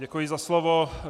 Děkuji za slovo.